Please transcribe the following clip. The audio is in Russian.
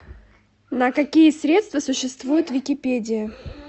на какие средства существует википедия